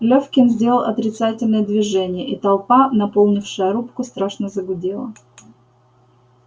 лефкин сделал отрицательное движение и толпа наполнившая рубку страшно загудела